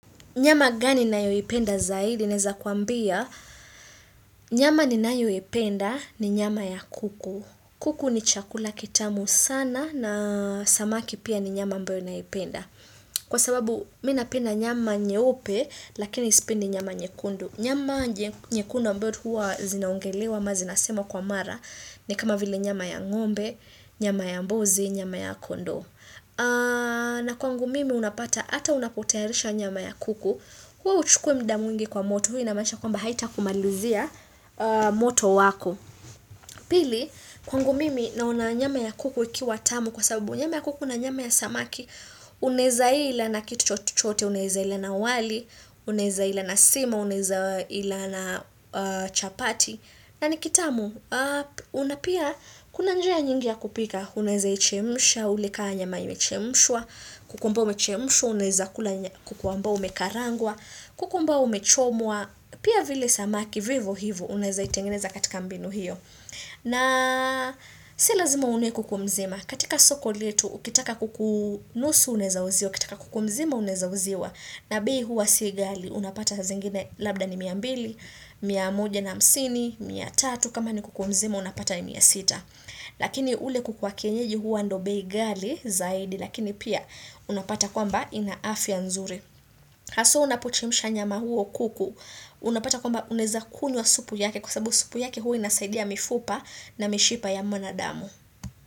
Nyama gani ninayoipenda zaidi naeza kuambia. Nyama ninayoipenda ni nyama ya kuku. Kuku ni chakula kitamu sana na samaki pia ni nyama ambayo naipenda. Kwa sababu mi napenda nyama nyeupe lakini sipendi nyama nyekundu. Nyama nyekundu ambao huwa zinaongelewa ama zinasemwa kwa mara ni kama vile nyama ya ngombe, nyama ya mbuzi, nyama ya kondoo na kwangu mimi unapata ata unapotayarisha nyama ya kuku Khuwa huchukui muda mwingi kwa moto huwa inamaanisha kwamba haitakumalizia moto wako Pili kwangu mimi naona nyama ya kuku ikiwa tamu kwa sababu nyama ya kuku na nyama ya samaki Unaeza ila na kitu chote, unaeza ila na wali, unaeza ila na sima, unaeza ila na chapati na ni kitamu, kuna pia kuna njia nyingi ya kupika, unaeza ichemsha, ule kaa nyama imchemshwa, kuku amba oumechemusha, unaeza kula amba umekarangwa, kuku ambao umechomwa, pia vile samaki vivo hivo unaeza itengineza katika mbinu hiyo. Na si lazima uwe kuku mzima. Katika soko letu, ukitaka kuku nusu unaeza uziwa, ukitaka kuku mzima unaeza uziwa, na bei huwa si ghali, unapata zingine labda ni mia mbili, mia moja na hamsini, mia tatu, kama ni kuku mzima unapata ni mia sita. Lakini ule kuku wa kienyeji huwa ndio bei ghali zaidi, lakini pia unapata kwamba ina afya nzuri. Haswa unapochemsha nyama huo kuku Unapata kwamba unaeza kunywa supu yake Kwa sababu supu yake huwa inasaidia mifupa na mishipa ya mwanadamu.